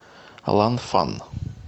ланфан